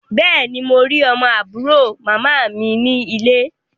Bẹ́ẹ̀ ni, mo rí ọmọ àbúrò màmá mi ní ilé.